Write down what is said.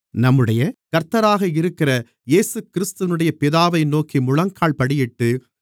நம்முடைய கர்த்தராக இருக்கிற இயேசுகிறிஸ்துவினுடைய பிதாவை நோக்கி முழங்கால்படியிட்டு